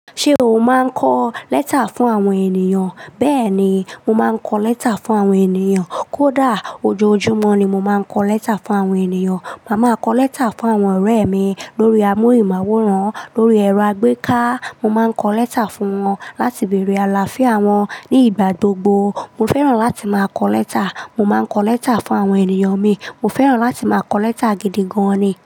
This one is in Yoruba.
Ṣé o máa ń kọ lẹ́tà fún àwọn ènìyàn? Bẹ́ẹ̀ni, mo máa ń kọ lẹ́tà fún àwọn ènìyàn. Kódà ojoojúmọ́ ni mo máa ń kọ lẹ́tà fún àwọn ènìyàn. Màá máa kọ lẹ́tà fún àwọn ọ̀rẹ́ mi lórí amórì máwòrán, lórí ẹ̀rọ àgbéká. Mo má ń kọ lẹ́tà fún wọn láti bèrè àlàáfíà wọn ní ìgbà gbogbo. Mo fẹ́ràn láti máa kọ lẹ́tà. Mo má ń kọ lẹ́tà fún àwọn ènìyàn mi. Mo fẹ́ràn láti máa kọ lẹ́tà gidi gan-an ni.